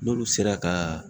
N'olu sera ka